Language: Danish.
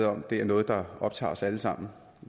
om at det er noget der optager os alle sammen